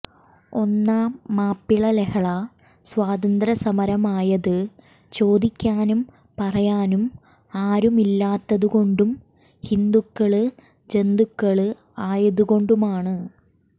ഒന്നാം മാപ്പിള ലഹള സ്വാതന്ത്ര്യ സമരമായത് ചോദിക്കാനും പറയാനും ആരുമില്ലാത്തത് കൊണ്ടും ഹിന്ദുക്കള് ജന്തുക്കള് ആയതു കൊണ്ടുമാണ്